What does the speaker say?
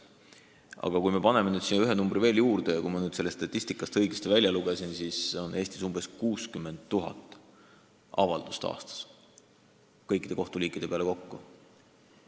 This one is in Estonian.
Aga paneme siia ühe numbri veel juurde: kui ma statistikast õigesti välja lugesin, siis esitatakse Eestis aastas kõikide kohtuliikide peale kokku umbes 60 000 avaldust.